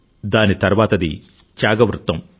దాని తర్వాతది త్యాగ వృత్తం